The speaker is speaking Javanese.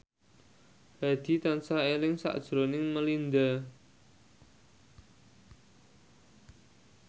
Hadi tansah eling sakjroning Melinda